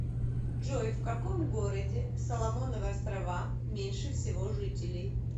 джой в каком городе в соломоновы острова меньше всего жителей